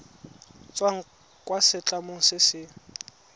tswang kwa setlamong se se